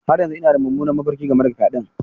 Har yanzu ina da mummunan mafarki game da fyaɗen.